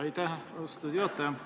Aitäh, austatud juhataja!